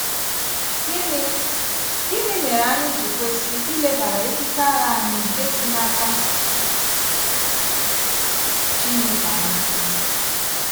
Gịnị Gịnị mere ànyị ji kwesị ilebara èkìké àgha ànyị nke si n’aka Chineke anya?